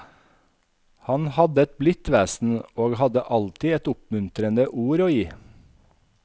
Han hadde et blidt vesen, og hadde alltid et oppmuntrende ord å gi.